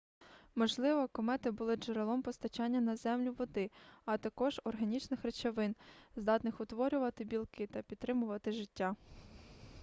можливо комети були джерелом постачання на землю води а також органічних речовин здатних утворювати білки та підтримувати життя